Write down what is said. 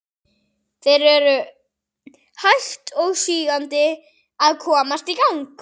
Þeir eru hægt og sígandi að komast í gang.